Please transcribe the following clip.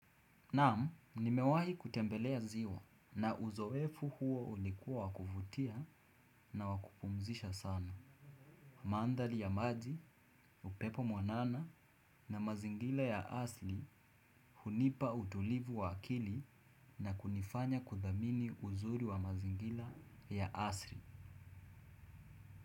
Naamu, nimewahi kutembelea ziwa na uzowefu huo ulikuwa wakufutia na wakupumzisha sana. Mandali ya maji, upepo mwanana na mazingila ya asli hunipa utulivu wa akili na kunifanya kudhamini uzuri wa mazingila ya asli.